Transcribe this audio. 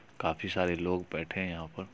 काफी सारे लोग बैठे हैं यहाँ पर।